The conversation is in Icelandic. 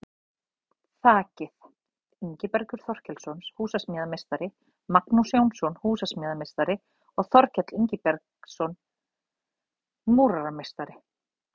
Þakið: Ingibergur Þorkelsson, húsasmíðameistari, Magnús Jónsson, húsasmíðameistari og Þorkell Ingibergsson, múrarameistari.